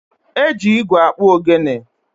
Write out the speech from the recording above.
E ji igwe akpụ ogene.